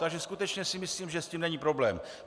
Takže skutečně si myslím, že s tím není problém.